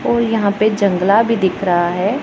और यहां पे जंगला भी दिख रहा है।